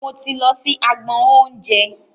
Mo ti lọ sí agbọn oúnjẹ.